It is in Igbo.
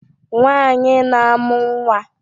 Nwanyị na-amụ nwa